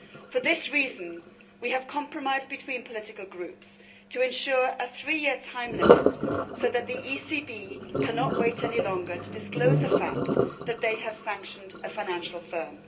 For this reason we have a compromise between political groups to ensure a three year time limit so that the ECB cannot wait any longer to disclose the fact that they have sanctioned a financial firm.